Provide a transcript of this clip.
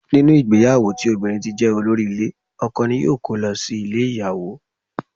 Nínú ìgbéyàwó tí obìnrin ti jé olórí ile, ọkọ ní yóò ko lọ sí ilé ìyàwó.